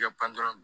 I ka pan dɔrɔn